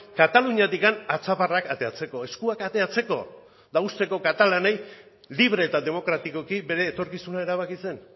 kataluniatik atzaparrak ateratzeko eskuak ateratzeko eta uzteko katalanei libre eta demokratikoki bere etorkizuna erabakitzen